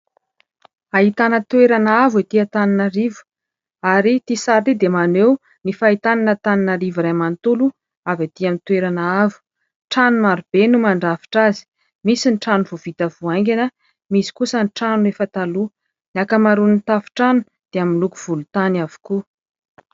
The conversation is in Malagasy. hahitana toerana avo etỳ Antananarivo ; ary ity sary ity dia maneho ny fahitana Antananarivo iray manontolo avy etỳ amin'ny toerana avo, trano maro be no mandrafitra azy, misy ny trano vao vita vao haingana, misy kosa ny trano efa taloha , ny ankamaroan'ny tafon-trano dia amin'ny loko volontany avokoa